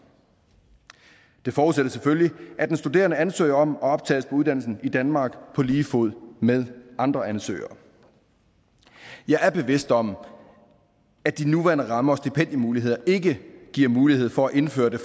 det forudsætter selvfølgelig at den studerende ansøger om og optages på uddannelsen i danmark på lige fod med andre ansøgere jeg er bevidst om at de nuværende rammer og stipendiemuligheder ikke giver mulighed for at indføre det